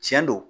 Tiɲɛ don